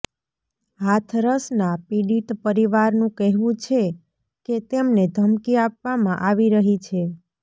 હાથરસના પીડિત પરિવારનું કહેવું છે કે તેમને ધમકી આપવામાં આવી રહી છે